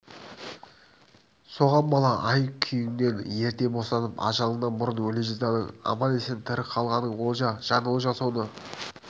соған бола ай-күніңнен ерте босанып ажалыңнан бұрын өле жаздадың аман-есен тірі қалғаның олжа жан олжа соны